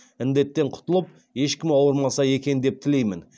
індеттен құтылып ешкім ауырмаса екен деп тілеймін